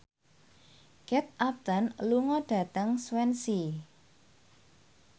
Kate Upton lunga dhateng Swansea